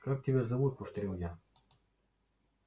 как тебя зовут повторил я